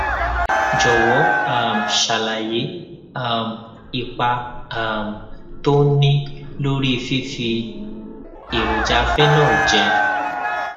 jòwó um ṣàlàyé um ipa um tó ń ní lórí fífi èròjà phenol jẹ